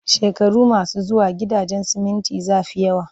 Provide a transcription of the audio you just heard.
Shekaru masu zuwa, gidajen siminti za fi yawa